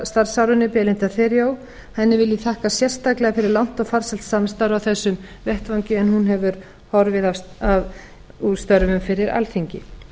starfsárinu belinda theriault henni vil ég þakka sérstaklega fyrir langt og farsælt samstarf á þessum vettvangi en hún hefur horfið úr störfum fyrir alþingi